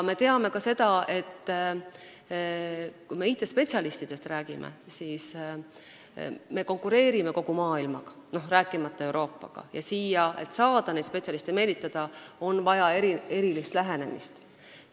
Me teame ka seda, et kui me IT-spetsialistidest räägime, siis me konkureerime kogu maailmaga, Euroopast rääkimata, ja selleks et neid spetsialiste siia meelitada, on vaja erilist lähenemist.